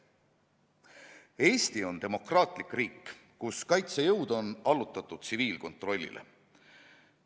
Eesti on demokraatlik riik, kus kaitsejõud on allutatud tsiviilkontrollile.